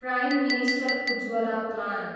prime minister Ujjwala plan